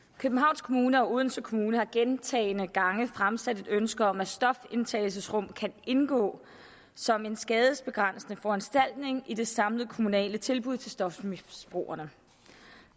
københavns kommune og odense kommune har gentagne gange fremsat et ønske om at stofindtagelsesrum kan indgå som en skadesbegrænsende foranstaltning i det samlede kommunale tilbud til stofmisbrugerne